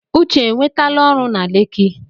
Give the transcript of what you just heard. Uche enwetala ọrụ na Leki?